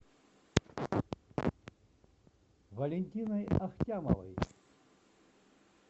валентиной ахтямовой